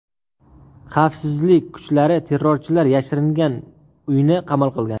Xavfsizlik kuchlari terrorchilar yashiringan uyni qamal qilgan.